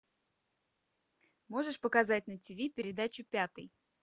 можешь показать на тиви передачу пятый